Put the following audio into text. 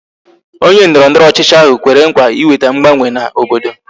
Onye ndọrọndọrọ ọchịchị ahụ kwere nkwa ịweta mgbanwe na obodo